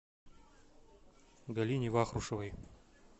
галине вахрушевой